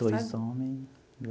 Dois homem.